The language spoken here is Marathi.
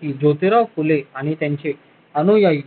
की जोतीराव फुले आणि त्यांचे अनुयायी